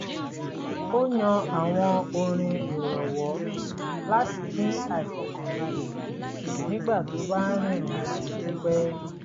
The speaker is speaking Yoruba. ó yan àwọn orin ìrọ̀wọ́ láti dín àìfọkànbalẹ̀ kù nígbà tó bá ń rìrìn àjò pípẹ́